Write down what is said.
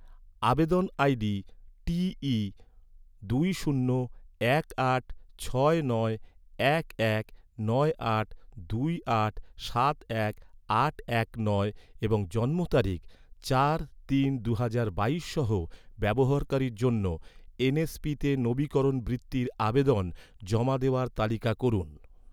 আবেদন আইডি টি ই দুই শূন্য এক আট ছয় নয় এক এক নয় আট দুই আট সাত এক আট এক নয় এবং জন্ম তারিখ চার তিন দুহাজার বাইশের সহ ব্যবহারকারীর জন্য, এনএসপিতে নবীকরণ বৃত্তির আবেদন জমা দেওয়ার তালিকা করুন